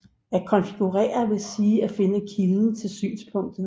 At konfigurere vil sige at finde kilden til synspunktet